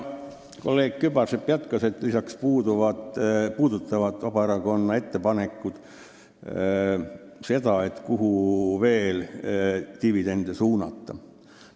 Kolleeg Kübarsepp jätkas, et lisaks puudutavad Vabaerakonna ettepanekud seda teemat, kuhu võiks veel dividende suunata.